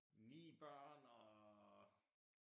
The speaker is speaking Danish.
9 børn og